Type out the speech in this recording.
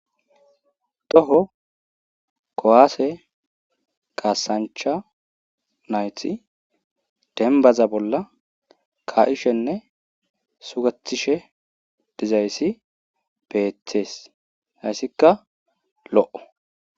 Toho kowaase qasancha nayti denbaza bolla ka7ishenne sugatishe dizayssi beethees hayssikka lo'o.